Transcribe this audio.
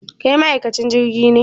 Kai ma'aikacin jirgin ne?